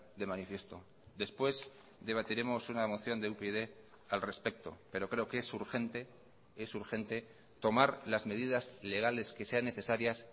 de manifiesto después debatiremos una moción de upyd al respecto pero creo que es urgente es urgente tomar las medidas legales que sean necesarias